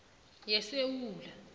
yesewula